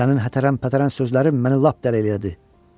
Sənin hətəran pətəran sözlərin məni lap dəli elədi.